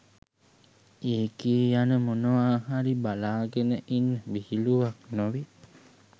එකේ යන මොනවා හරි බලාගෙන ඉන්න විහිළුවක් නොවී